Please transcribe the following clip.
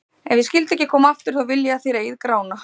Ef ég skyldi ekki koma aftur, þá vil ég að þér eigið Grána.